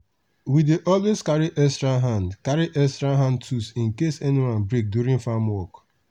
we dey always carry extra hand carry extra hand tools in case any one break during farm work.